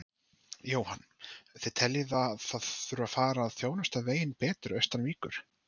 Jóhann: Þið teljið að það þurfi að fara að þjónusta veginn betur austan Víkur?